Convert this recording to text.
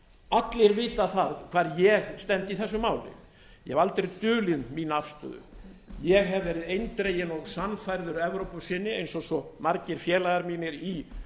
allir vita það hvar ég stend í þessu máli ég hef aldrei dulið mína afstöðu ég hef verið eindreginn og sannfærður evrópusinni eins og svo margir félagar mínir í